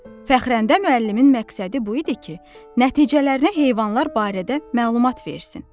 Fəxrəndə müəllimin məqsədi bu idi ki, nəticələrinə heyvanlar barədə məlumat versin.